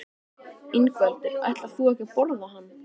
Ingveldur: Ætlar þú ekki að borða hann?